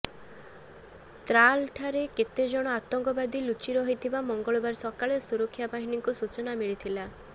ତ୍ରାଲଠାରେ କେତେଜଣ ଆତଙ୍କବାଦୀ ଲୁଚି ରହିଥିବା ମଙ୍ଗଳବାର ସକାଳେ ସୁରକ୍ଷା ବାହିନୀଙ୍କୁ ସୂଚନା ମିଳିଥିଲା